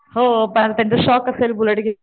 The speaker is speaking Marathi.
हो पण त्यांचा शौक असेल बुलेट घ्यायचा